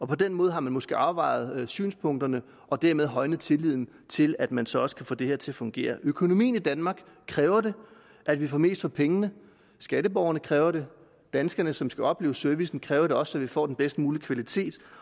på den måde har man måske afvejet synspunkterne og dermed højnet tilliden til at man så også kan få det her til at fungere økonomien i danmark kræver at vi får mest for pengene skatteborgerne kræver det danskerne som skal opleve servicen kræver det også så vi får den bedst mulige kvalitet